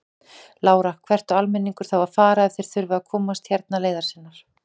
Lára: Hvert á almenningur þá að fara ef þeir þurfa að komast hérna leiðar sinnar?